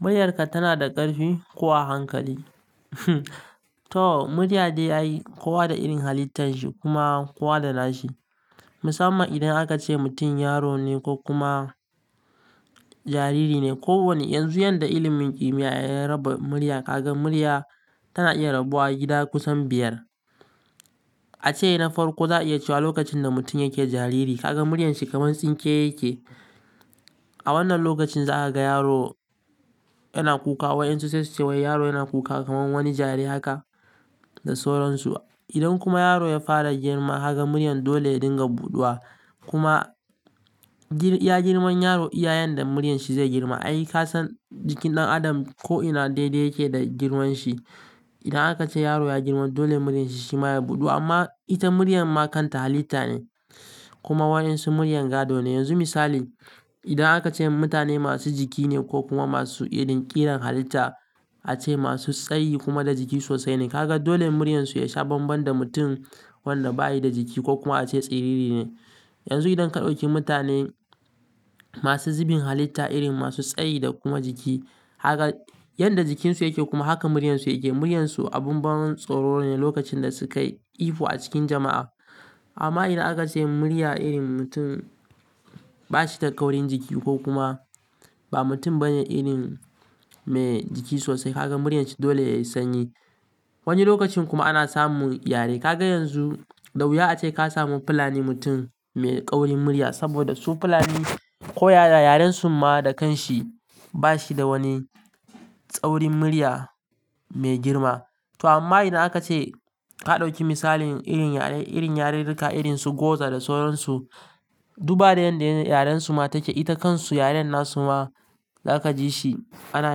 Muryarka tana da ƙarfi ko hankali? To murya dai yayi kuwa da irin halittan shi kuma kuwa da nashi. Musamman idan aka ce mutum yaro ne ko kuma jariri ne. Ko wane yanzu yadda ilimin ƙimiya ya raba murya, ka ga murya tana iya rabuwa gida kusan biyar. A ce na farko za a iya cewa lokacin da mutum yake jariri, ka ga muryar shi kamar tsinke yake. A wannan lokacin za a ga yaro yana kuka wai in su ce sai cewa yaro yana kuka kamar wani jari haka da soron su. Idan kuma yaro ya fara girma haka muryar dole yadda dinga buɗuwa. Kuma girma, ya girman yaro iyayen da muryar shi zai girma. Ai kasan jikin ɗan adam ko'ina daidai yake da girman shi. Idan aka ce yaro ya girma dole muryar shi shi ma ya buɗu amma ita muryar ma kanta halitta ne kuma waɗansu muryar gado ne. Yanzu misali, idan aka ce mutane masu jiki ne ko kuma masu ƙiran halitta a ce masu tsayi kuma da jiki sosai ne. Ka ga dole muryar su ya sha bambam da mutum wanda bayi da jiki ko kuma a ce tsiriri ne. Yanzu idan aka ɗauki mutane masu zubin halitta irin masu tsayi da kuma jiki haka yanda jikin su yake kuma haka muryar su yake. Muryar su abun ban tsoro ne lokacin da sukayi ifa a cikin jama'a. Amma idan aka ce murya irin mutum bashi da kaurin jiki ko kuma ba mutum bane irin mai jiki sosai. Ka ga muryar shi dole yayi sanyi. Wani lokacin kuma ana samun yare. Ka ga yanzu, da wuya ace ka samu Fulani mutum mai ƙaurin murya saboda su Fulani koya da yaren su ma da kanshi bashi da wani tsaurin murya mai girma. To amma idan aka ce ka ɗauki misalin irin yare, irin yarirrika irin su Goza da soron su. Duba da yadda yaren su ma take, ita kansu yaren nasu ma za ka ji shi ana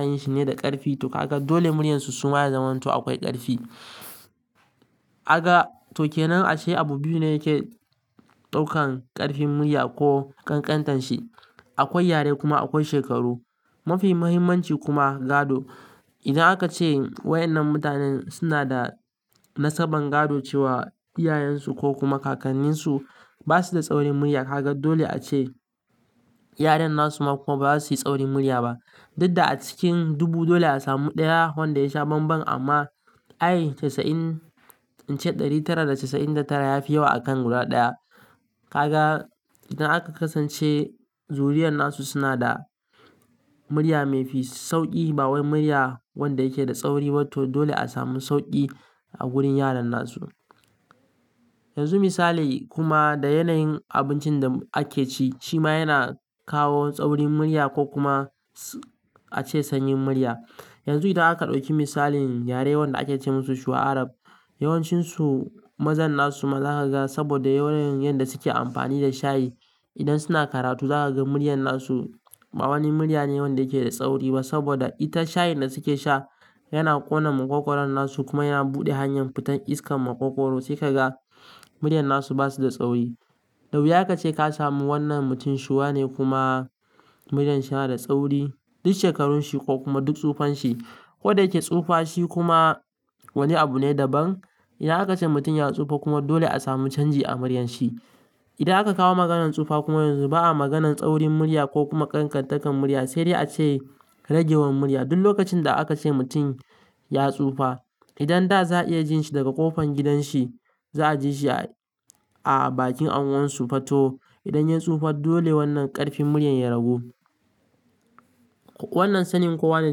yin shi ne da ƙarfi to ka ga dole muryar su su ma ya zamanto akwai ƙarfi. A ga to ke nan a ce abu biyu ne yake ɗaukan ƙarfin murya ko ƙanƙantarin shi. Akwai yare kuma akwai shekaru. Mafi muhimmanci kuma gado. Idan aka ce waɗannan mutanen suna da nasaban gado cewa iyayen su ko kuma kakannin su basu da tsaurin murya. Ka ga dole a ce yaren nasu ma kuma bazasu yi tsaurin murya ba. Dudda a cikin dubu dole a samu ɗaya wanda ya sha bambam amma ai casa'in, in ce ɗari tara da casa'in da tara ya fi yawa a kan guda ɗaya. Ka ga idan aka kasance zuriyar nasu suna da murya maifi sauƙi ba wai murya wanda yake da tsauri ba to dole a samu sauƙi a gurin yaren nasu. Yanzu misali kuma da yanayin abincin da ake ci shi ma yana kawo tsaurin murya ko kuma a ce sanyin murya. Yanzu idan aka ɗauki misalin yare wanda ake ce musu Shuwa Arab, yawancin su mazan nasu ma za ka ga saboda yanayin yadda suke amfani da shayi. Idan suna karatu za ka ga muryar nasu ba wani murya ne wanda yake da tsauri ba saboda ita shayin da suke sha yana ƙona maƙogwaron nasu kuma yana buɗe hanyar fitan iskar maƙogwaro sai ka ga muryar nasu basu da tsauri. Da wuya ka ce ka samu wannan mutum Shuwa ne kuma muryar shi yana da tsauri. Duk shekarun shi ko kuma duk tsufan shi. Ko da yake tsufa shi kuma wani abu ne daban. Idan aka ce mutum ya tsufa kuma dole a samu canji a muryar shi. Idan aka kawo maganan tsufa kuma yanzu ba a maganan tsaurin murya ko kuma ƙanƙantakar murya sai dai a ce ragewar murya. Duk lokacin da aka ce mutum ya tsufa. Idan da za a iya jin shi daga ƙofan gidan shi, za a ji shi a bakin anwon su fatto. Idan ya tsufa dole wannan ƙarfin murya ya ragu. Wannan sanin kuwa ne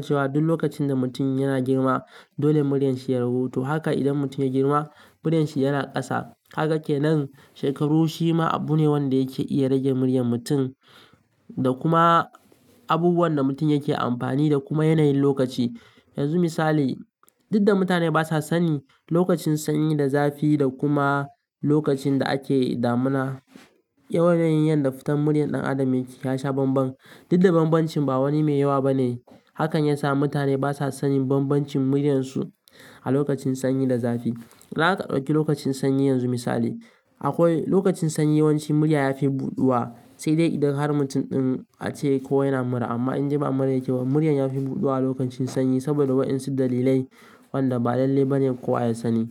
cewa duk lokacin da mutum yana girma dole muryar shi ya ragu. To haka idan mutum ya girma muryar shi yana ƙasa. Kaga kenan shekaru shi ma abu ne wanda yake iya rage muryar mutum da kuma abubuwan da mutum yake amfani da kuma yanayin lokaci. Yanzu misali, dudda mutane basa sani lokacin sanyi da zafi da kuma lokacin da ake damuna. Yanayin yadda fitar muryar ɗan adam yake ya sha bambam. Dudda bambancin ba wani mai yawa bane. Hakan yasa mutane basa sanin bambancin muryar su a lokacin sanyi da zafi. Idan aka ɗauki lokacin sanyi yanzu misali, akwai lokacin sanyi yawanci murya yafi buɗuwa sai dai idan har mutum ɗin a ce ko yana mura. Amma in ji ba mura yake ba murya yafi buɗuwa a lokacin sanyi saboda waɗansu dalilai wanda ba lalle bane kowa ya sani.